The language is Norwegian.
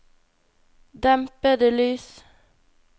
dempede lys